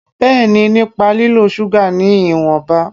Bẹ́ẹ̀ni, nípa lílo ṣúgà ní ìwọ̀nba